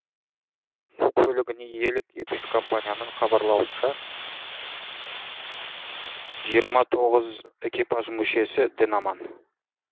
су көлігіне иелік етуші компанияның хабарлауынша жиырма тоғыз экипаж мүшесі дін аман